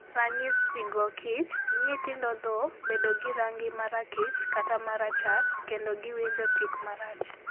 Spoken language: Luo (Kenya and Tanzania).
Ranyisigo kich: Nyithindo tho, bedo gi rangi ma rakich kata ma rachar, kendo giwinjo tik marach